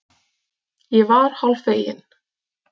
Ég var hálffegin.